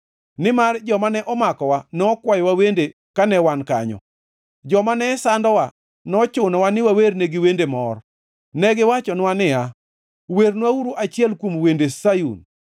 nimar joma ne omakowa nokwayowa wende kane wan kanyo, joma nesandowa nochunowa ni wawernegi wende mor; negiwachonwa niya, “Wernwauru achiel kuom wende Sayun!”